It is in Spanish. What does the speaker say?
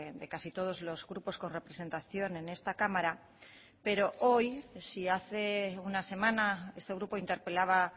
de casi todos los grupos con representación en esta cámara pero hoy si hace una semana este grupo interpelaba